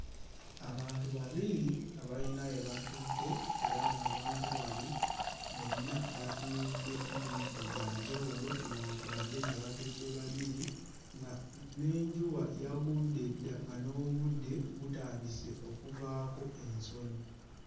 Abantu babiri abayina we batudde era ng'abantu bano bonna batunudde mu bifo bya njawulo newankubadde nga batudde babiri nga n'enjuba yagudde dda nga n'obudde butandise okuvaako ensonyi.